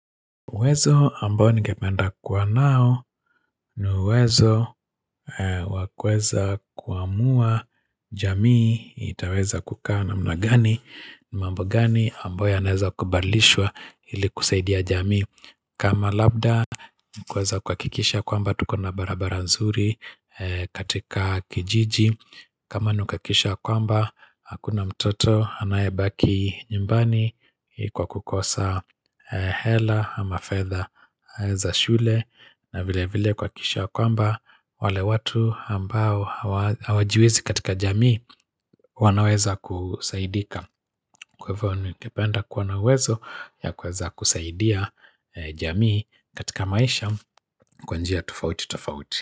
Uwezo ambao ningependa kuwa nao ni uwezo wa kuweza kuamua jamii itaweza kukaa namna gani mambo gani ambayo yanaeza kubalishwa ili kusaidia jamii kama labda kuweza kuhakikisha kwamba tuko na barabara nzuri katika kijiji kama ni kuhakikisha ya kwamba, hakuna mtoto anayebaki nyumbani kwa kukosa hela ama fedha za shule. Na vilevile kuhakikisha ya kwamba, wale watu ambao hawajiwezi katika jamii wanaweza kusaidika. Kwa hivyo ningependa kuwa na uwezo ya kuweza kusaidia jamii katika maisha kwa njia tofauti tofauti.